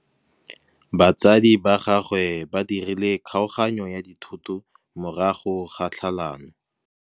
Batsadi ba gagwe ba dirile kgaoganyô ya dithoto morago ga tlhalanô.